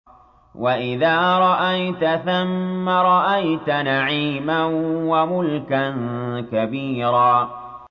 وَإِذَا رَأَيْتَ ثَمَّ رَأَيْتَ نَعِيمًا وَمُلْكًا كَبِيرًا